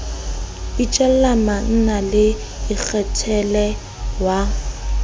itjella manna le ikgethela wa